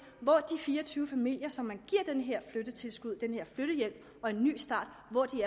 hvor de fire og tyve familier som man giver den her flyttehjælp og en ny start